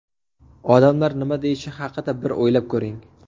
Odamlar nima deyishi haqida bir o‘ylab ko‘ring.